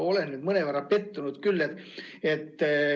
Olen mõnevõrra pettunud küll.